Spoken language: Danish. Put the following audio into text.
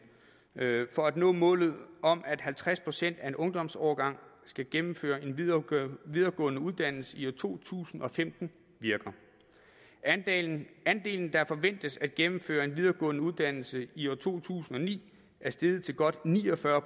for at nå målet om at halvtreds procent af en ungdomsårgang skal gennemføre en videregående videregående uddannelse i to tusind og femten virker andelen andelen der forventes at gennemføre en videregående uddannelse i to tusind og ni er steget til godt ni og fyrre